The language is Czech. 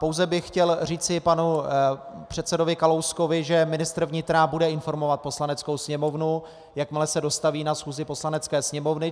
Pouze bych chtěl říci panu předsedovi Kalouskovi, že ministr vnitra bude informovat Poslaneckou sněmovnu, jakmile se dostaví na schůzi Poslanecké sněmovny.